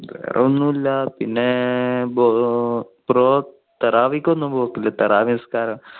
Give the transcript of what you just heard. വേറെ ഒന്നും ഇല്ല. പിന്നെഒന്നും പോകില്ലേനിസ്കാരം.